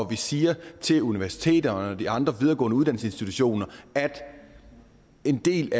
vi siger til universiteterne og de andre videregående uddannelsesinstitutioner at en del